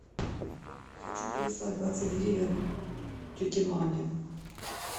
хочу переслать двадцать гривен тете мане